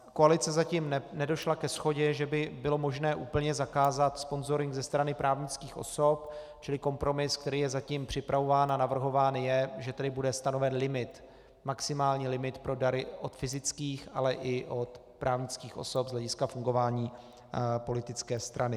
Koalice zatím nedošla ke shodě, že by bylo možné úplně zakázat sponzoring ze strany právnických osob, čili kompromis, který je zatím připravován a navrhován je, že tedy bude stanoven limit, maximální limit pro dary od fyzických, ale i od právnických osob z hlediska fungování politické strany.